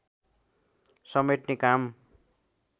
समेट्ने काम